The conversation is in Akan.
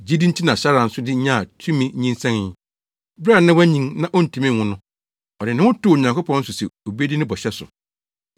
Gyidi nti na Sara nso de nyaa tumi nyinsɛnee, bere a na wanyin na ontumi nwo no. Ɔde ne ho too Onyankopɔn so se obedi ne bɔhyɛ so.